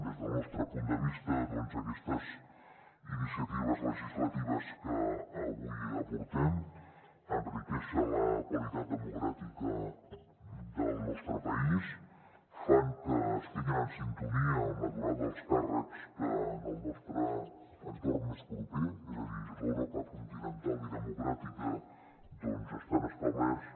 des del nostre punt de vista doncs aquestes iniciatives legislatives que avui aportem enriqueixen la qualitat democràtica del nostre país fan que estiguin en sintonia amb la durada dels càrrecs que en el nostre entorn més proper és a dir l’europa continental i democràtica estan establerts